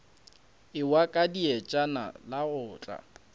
ewa ka dietšana la otla